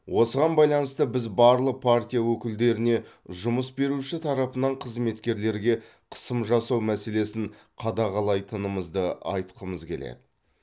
осыған байланысты біз барлық партия өкілдеріне жұмыс беруші тарапынан қызметкерлерге қысым жасау мәселесін қадағалайтынымызды айтқымыз келеді